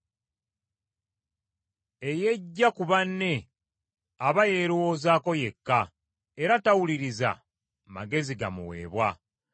Eyeggya ku banne aba yeerowoozako yekka, era tawuliriza magezi gamuweebwa.